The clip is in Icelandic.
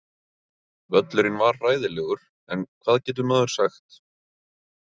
Völlurinn var hræðilegur en hvað getur maður sagt?